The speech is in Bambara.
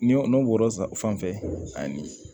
Ni n'o bɔra fanfɛ ani